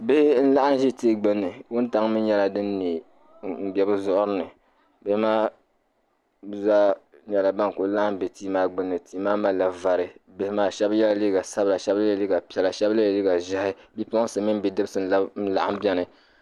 Bihi n-laɣim ʒi tii gbunni ka wuntaŋ mi nyɛla din ne m-be bɛ zuɣu ni bihi maa zaa nyɛla ban kuli laɣim be tii maa gbunni tia maa malila vari bihi maa shɛb' yela liiga sabila ka shɛb' yela liiga piɛla shɛb' yela liiga ʒɛhi bipuɣinsi mini bidibsi n-gab' n-laɣim beni